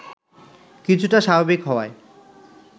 কিছুটা স্বাভাবিক হওয়ায়